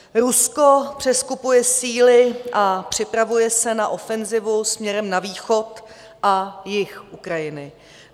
Rusko přeskupuje síly a připravuje se na ofenzivu směrem na východ a jih Ukrajiny.